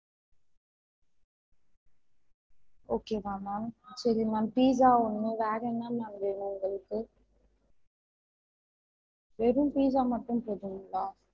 Okay வா ma'am சரி ma'am pizza ஒண்ணு வேற என்னலாம் வேணும் உங்களுக்கு வெறும் pizza மட்டும் போதுங்களா?